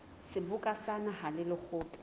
seboka sa naha le lekgotla